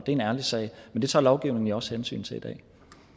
en ærlig sag så tager lovgivningen jo også hensyn til det